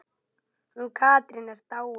Hún Katrín er dáin.